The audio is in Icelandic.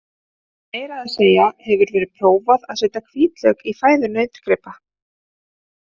Meira að segja hefur verið prófað er að setja hvítlauk í fæðu nautgripa.